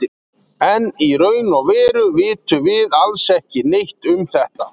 en í raun og veru vitum við alls ekki neitt um þetta